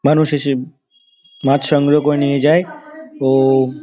মানুষ এসে মাছ সংগ্রহ করে নিয়ে যায় | ও ---